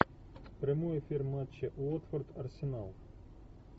прямой эфир матча уотфорд арсенал